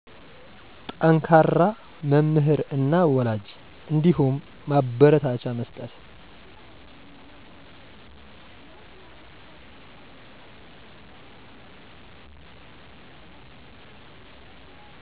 ጠንከራ መምህር እና ወላጅ እንዲሁም ማበረታቻ መስጠት